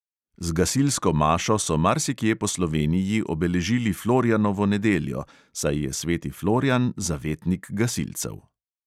Z gasilsko mašo so marsikje po sloveniji obeležili florjanovo nedeljo, saj je sveti florjan zavetnik gasilcev.